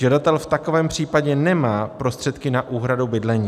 Žadatel v takovém případě nemá prostředky na úhradu bydlení.